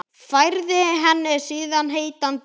Færði henni síðan heitan drykk.